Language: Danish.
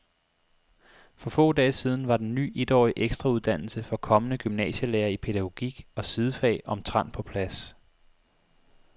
For få dage siden var den ny etårige ekstrauddannelse for kommende gymnasielærere i pædagogik og sidefag omtrent på plads.